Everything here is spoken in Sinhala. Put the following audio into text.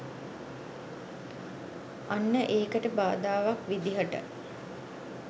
අන්න ඒකට බාධාවක් විදිහට